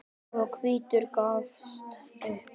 og hvítur gafst upp.